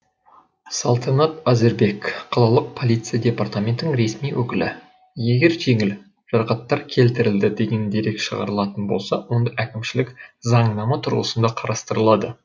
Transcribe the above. салтанат әзірбек қалалық полиция департаментінің ресми өкілі егер жеңіл жарақаттар келтірілді деген дерек шығарылатын болса онда әкімшілік заңнама тұрғысында қарастырылады